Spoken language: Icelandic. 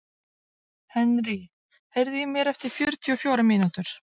Henry, heyrðu í mér eftir fjörutíu og fjórar mínútur.